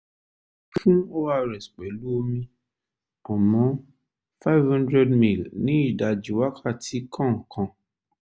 fún ors pẹ̀lú omi five hundred ml ní ìdajì wákàtí kọ̀ọ̀kan